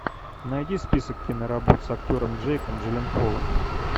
найди список киноработ с актером джейком джилленхолом